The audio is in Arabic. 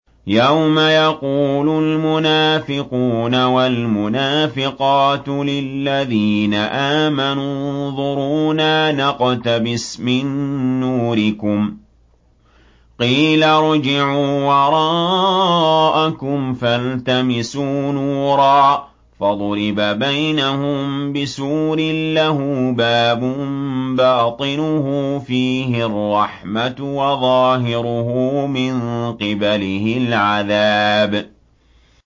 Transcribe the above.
يَوْمَ يَقُولُ الْمُنَافِقُونَ وَالْمُنَافِقَاتُ لِلَّذِينَ آمَنُوا انظُرُونَا نَقْتَبِسْ مِن نُّورِكُمْ قِيلَ ارْجِعُوا وَرَاءَكُمْ فَالْتَمِسُوا نُورًا فَضُرِبَ بَيْنَهُم بِسُورٍ لَّهُ بَابٌ بَاطِنُهُ فِيهِ الرَّحْمَةُ وَظَاهِرُهُ مِن قِبَلِهِ الْعَذَابُ